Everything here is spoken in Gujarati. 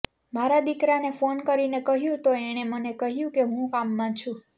મારા દીકરાને ફોન કરીને કહ્યું તો એણે મને કહ્યું કે હું કામમાં છું